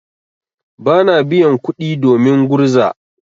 Bana biyan kuɗi domin gurza.